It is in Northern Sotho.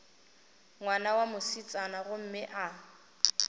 ngwana wa mosetsana gomme a